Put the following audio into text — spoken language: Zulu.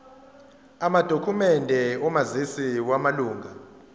amadokhumende omazisi wamalunga